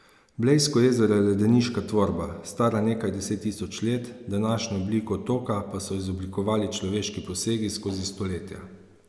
Blejsko jezero je ledeniška tvorba, stara nekaj deset tisoč let, današnjo obliko otoka pa so izoblikovali človeški posegi skozi stoletja.